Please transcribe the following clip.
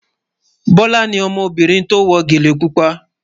Bọ́lá ni ọmọbìnrin tí ó wọ gẹ́lẹ̀ púpà